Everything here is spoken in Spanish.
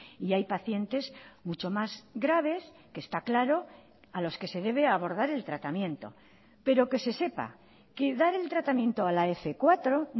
y hay pacientes mucho más graves que está claro a los que se debe abordar el tratamiento pero que se sepa que dar el tratamiento a la f cuatro